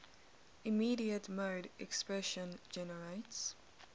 immediate mode expression generates